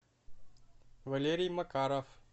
валерий макаров